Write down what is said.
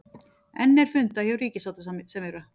Enn er fundað hjá ríkissáttasemjara